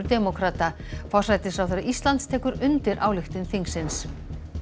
demókrata forsætisráðherra Íslands tekur undir ályktun þingsins